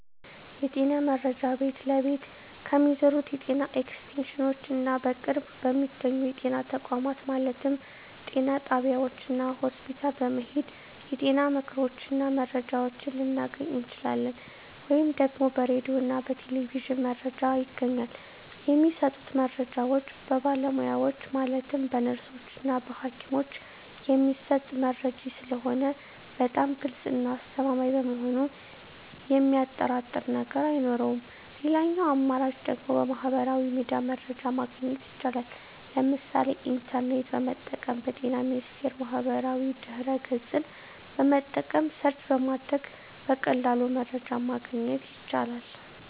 የጤና መረጃ ቤት ለቤት ከሚዞሩት የጤና ኤክስቴንሽኖች እና በቅርብ በሚገኙ የጤና ተቋማት ማለትም ጤና ጣቢያዎች እና ሆስፒታል በመሔድ የጤና ምክሮችን እና መረጃዎችን ልናገኝ እንችላለን። ወይም ደግሞ በራዲዮ እና በቴሌቪዥንም መረጃ ይገኛል። የሚሰጡት መረጃዎች በባለሙያዎች ማለትም በነርሶች እና በሀኪሞች የሚሰጥ መረጂ ስለሆነ በጣም ግልፅ እና አስተማማኝ በመሆኑ የሚያጠራጥር ነገር አይኖረውም ሌላኛው አማራጭ ደግሞ በሚህበራዊ ሚዲያ መረጃ ማግኘት ይቻላል ለምሳሌ ኢንተርኔትን በመጠቀም በጤና ሚኒስቴር ማህበራዊ ድህረ ገፅን በመጠቀም ሰርች በማድረግ በቀላሉ መረጃን ማግኘት ይቻላል።